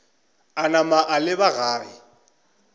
a napa a leba gae